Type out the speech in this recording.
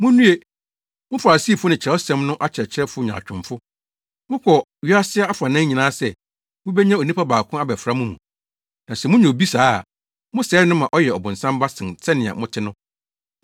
“Munnue! Mo Farisifo ne Kyerɛwsɛm no akyerɛkyerɛfo nyaatwomfo! Mokɔ wiase afanan nyinaa sɛ mubenya onipa baako abɛfra mo mu. Na sɛ munya obi saa a, mosɛe no ma ɔyɛ ɔbonsam ba sen sɛnea mote no.